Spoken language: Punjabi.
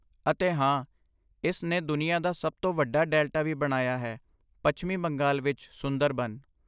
ਅਤੇ ਹਾਂ, ਇਸ ਨੇ ਦੁਨੀਆ ਦਾ ਸਭ ਤੋਂ ਵੱਡਾ ਡੈਲਟਾ ਵੀ ਬਣਾਇਆ ਹੈ ਪੱਛਮੀ ਬੰਗਾਲ ਵਿੱਚ ਸੁੰਦਰਬਨ